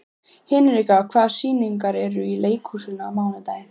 Hinrika, hvaða sýningar eru í leikhúsinu á mánudaginn?